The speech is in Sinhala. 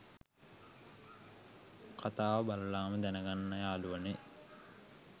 කතාව බලලම දැනගන්න යාළුවනේ